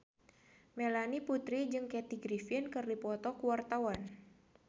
Melanie Putri jeung Kathy Griffin keur dipoto ku wartawan